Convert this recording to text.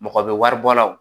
Mɔgɔ bɛ wari bɔ la o